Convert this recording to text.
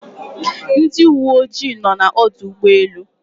Ndị uwe ojii nọ n'ọdụ ụgbọelu